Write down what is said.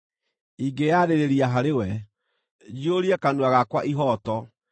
Ingĩĩyarĩrĩria harĩ we, njiyũrie kanua gakwa ihooto.